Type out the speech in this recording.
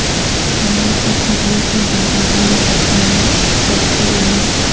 چہرے پر جھریوں کا باعث بن سکتا ہے سیلفی لینا